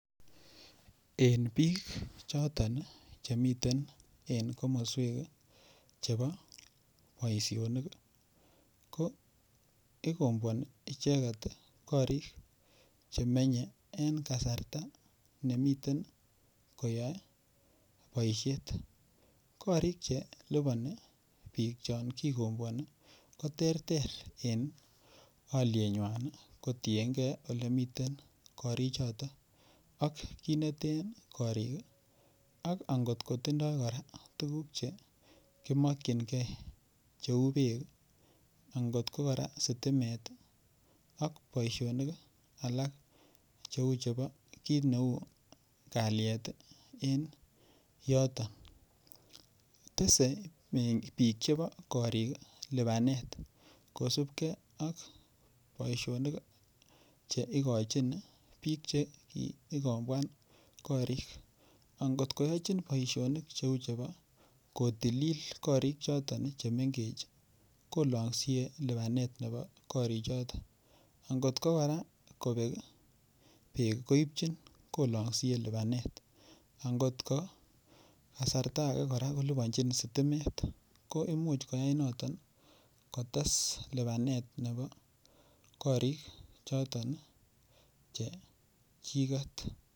Eng biik choton chemiten en komoswek chebo boishonik ko ikomboani icheket korik chemenyei eng kasarta nemiten koyoe boishet korik chelipobi biik chekikomboani ko ter ter en olienywan kotienkei olemiten korichoto ak kiit nete korik ak angotkotindoi kora tukuk che komokchingei cheu beek angot ko Kora sitimet ak boishonik alak cheu chebo kiit neu kalyet en yoton tesei biik chebo korik lipanet kosupkei ak boishonik cheikochin biik chekikomboani korik angotkoyochin boishonik cheu chebo kotililit korik choton chemengech kolongsie lipanet nebo korichoton angotko kora kobek beek koipchin kolongsie lipanet angotko kasarta age kolipanji sitimet ko imuch koyai noton kotes lipanet nebo korik choton che chiket